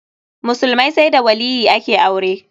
Musulmai sai da waliyyi ake aure.